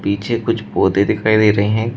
पीछे कुछ पौधे दिखाई दे रहे है।